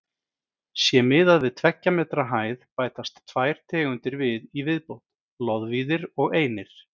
Sé miðað við tveggja metra hæð bætast tvær tegundir við í viðbót: loðvíðir og einir.